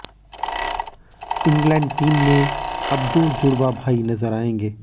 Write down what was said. England team में अब दो जुड़वा भाई नजर आयेंगे